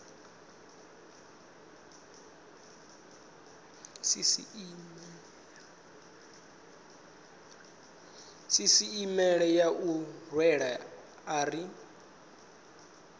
sisieme ya u rwela ari